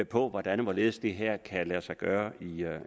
på hvordan og hvorledes det her kan lade sig gøre